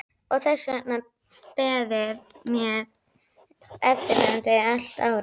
Og þess var beðið með eftirvæntingu allt árið.